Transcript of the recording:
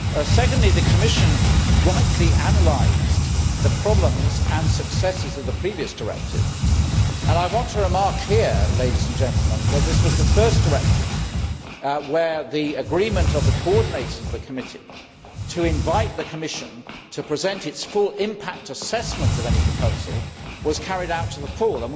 Secondly, the Commission rightly analysed the problems and successes of the previous directive, and I want to remark here that this was the first directive where the agreement of the committee coordinators to invite the Commission to present its full impact assessment of any proposal was carried out to the full.